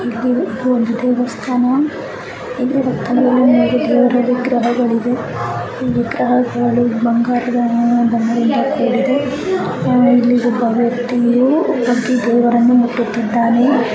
ಇದೊಂದು ದೇವಸ್ಥಾನ ಅಲ್ಲಿ ಮೂರು ದೇವರ ವಿಗ್ರಹಗಳಿದೆ. ಈ ವಿಗ್ರಹಗಳು ಬಂಗಾರದ ಬಣ್ಣದಿಂದ ಕೂಡಿದೆ. ನೀ ಯಾರೋ ಒಬ್ಬ ವ್ಯಕ್ತಿ ಮಧ್ಯ ದೇವರನ್ನಮುಟ್ಟುತ್ತಿದ್ದಾನೆ.